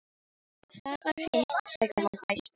Ef það var hitt, sagði hann æstur: